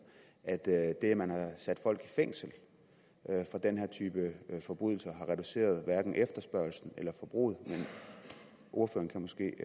at det at man har sat folk i fængsel for den her type forbrydelser har reduceret efterspørgslen eller forbruget men ordføreren kan måske